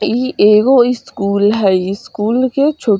इ एगो स्कूल हेय स्कूल के छू --